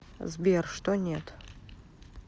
сбер что нет